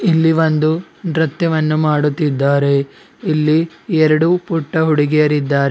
ಇಲ್ಲಿ ಒಂದು ನೃತ್ಯವನ್ನು ಮಾಡುತ್ತಿದ್ದಾರೆ ಇಲ್ಲಿ ಎರಡು ಪುಟ್ಟ ಹುಡುಗಿಯರ ಇದ್ದಾರೆ.